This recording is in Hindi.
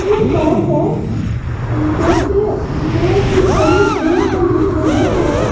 ये एक सड़क है जो कि बहुत ही बड़ी दूर तक दिख रही है।